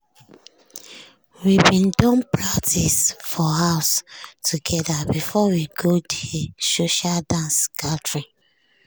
we bin don practice for house together before we go de social dance gathering.